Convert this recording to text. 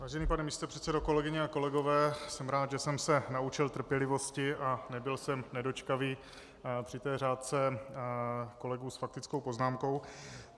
Vážený pane místopředsedo, kolegyně a kolegové, jsem rád, že jsem se naučil trpělivosti a nebyl jsem nedočkavý při té řádce kolegů s faktickou poznámkou.